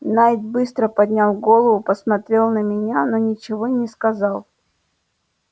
найд быстро поднял голову посмотрел на меня но ничего не сказал